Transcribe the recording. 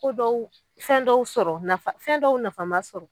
So dɔw fɛn dɔw sɔrɔ nafa fɛn dɔw nafama sɔrɔ